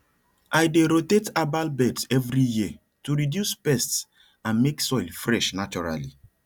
i dey rotate herbal beds every year to reduce pests and make soil fresh naturally